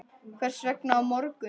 Hvers vegna á morgun?